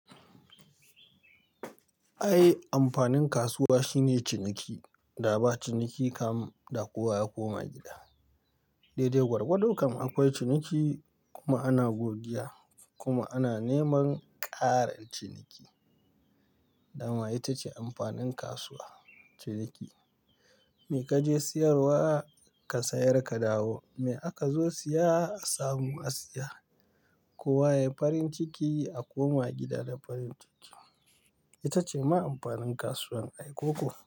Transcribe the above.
Ai amfanin kasuwa shine ciniki, da ba ciniki kam da kowa ya koma gida. Daidai gwargwadon kam akwai ciniki kuma ana godiya kuma ana neman ƙarin ciniki. Dama ita ce amfanin kasuwa, ciniki. Me kaje siyarwa ka sayar ka dawo, me aka zo siya a samu a siya. Kowa yayi farin ciki a koma gida da farin ciki. Ita ce ma amfanin kasuwan ai koko.